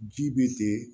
Ji bɛ